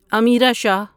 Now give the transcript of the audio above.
Amira Shah